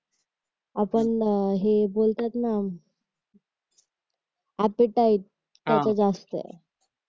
आपण हे बोलतात ना एपेटाइट तसच असत